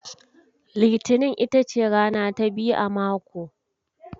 Litinin ita ce rana ta biyu a mako.